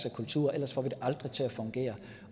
af kulturer ellers får vi det aldrig til at fungere